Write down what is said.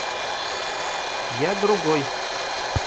я другой